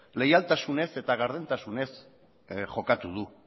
leialtasunez eta gardentasunez jokatu du